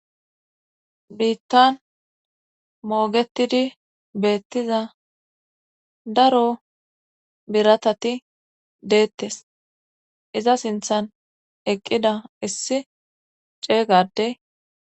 Biittan moogetidi beettiza daro biratati deettes iza sinthan eqqida issi ceeygade.